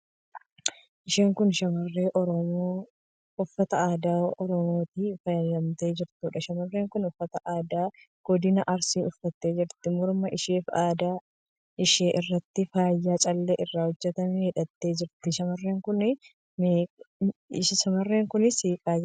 Isheen kun shamarree Oromoo uffata aadaa Oromootiin faayamtee jirtuudha. Shamarreen kun uffata aadaa godina Arsii uffattee jirti. Morma isheefi adda ishee irratti faayaa callee irraa hojjetame hidhattee jirti. Shamarreen kun seeqaa jirti.